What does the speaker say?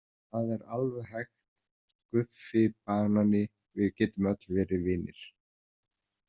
Það er alveg hægt Guffi banani, við getum öll verið vinir.